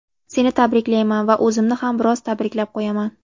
Seni tabriklayman va o‘zimni ham biroz tabriklab qo‘yaman.